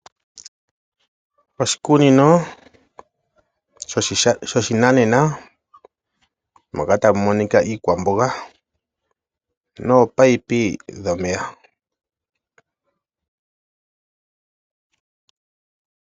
Oshikunino shoshinanena moka tamu monika iikwamboga noopipe dhomeya.